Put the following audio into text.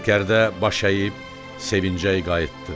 Sərkərdə baş əyib sevinclə qayıtdı.